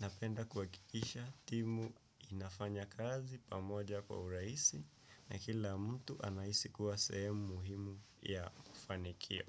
napenda kuhakikisha timu inafanya kazi pamoja kwa urahisi na kila mtu anahisi kuwa sehemu muhimu ya mafanikio.